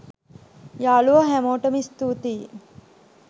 යාලුවෝ හැමෝටම ස්තුතියි